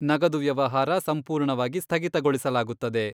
ನಗದು ವ್ಯವಹಾರ ಸಂಪೂರ್ಣವಾಗಿ ಸ್ಥಗಿತಗೊಳಿಸಲಾಗುತ್ತದೆ.